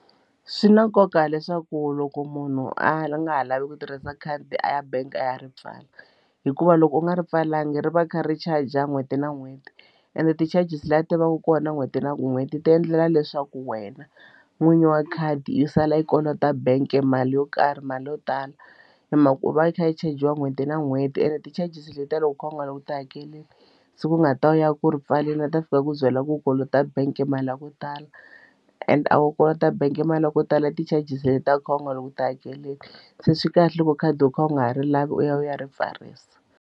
Swi na nkoka leswaku loko munhu a nga ha lavi ku tirhisa khadi a ya bank a ya ri pfala hikuva loko u nga ri pfalanga ri va ri kha ri-charge n'hweti na n'hweti ende ti-charges leti ti vaka kona n'hweti na n'hweti ti endlela leswaku wena n'winyi wa khadi i sala i kolota bank e mali yo karhi mali yo tala hi mhaka ku va i kha i chajiwa n'hweti na n'hweti ene ti-charges letiya loko u kha u nga ri u nga ti hakeleli se ku nga ta u ya ku ri pfaleli na ta a fika a ku byela ku kolota bank mali ya ku tala and a wu kota bank e mali ya ko tala i ti-charges leti u kha u nga loko u ti hakelela se swi kahle loko khadi u kha u nga ha ri lavi u ya u ya ri pfarisa.